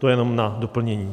To jenom na doplnění.